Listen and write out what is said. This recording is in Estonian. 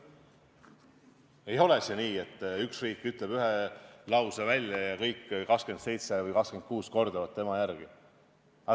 Ei ole see nii, et üks riik ütleb ühe lause välja ja kõik 27 või 26 kordavad tema järel.